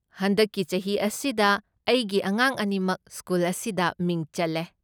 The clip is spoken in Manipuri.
ꯍꯟꯗꯛꯀꯤ ꯆꯍꯤ ꯑꯁꯤꯗ ꯑꯩꯒꯤ ꯑꯉꯥꯡ ꯑꯅꯤꯃꯛ ꯁ꯭ꯀꯨꯜ ꯑꯁꯤꯗ ꯃꯤꯡ ꯆꯜꯂꯦ꯫